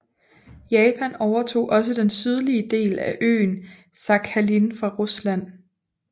Japan overtog også den sydlige del af øen Sakhalin fra Rusland